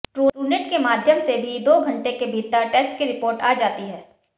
Truenat के माध्यम से भी दो घंटे के भीतर टेस्ट की रिपोर्ट आ जाती है